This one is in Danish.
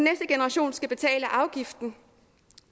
generation skal betale afgiften